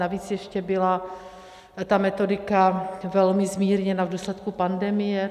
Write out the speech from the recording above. Navíc ještě byla ta metodika velmi zmírněna v důsledku pandemie.